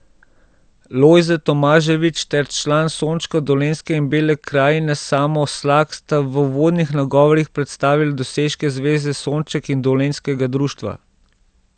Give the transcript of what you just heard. Lojze Tomaževič ter član Sončka Dolenjske in Bele krajine Samo Slak sta v uvodnih nagovorih predstavila dosežke Zveze Sonček in dolenjskega društva.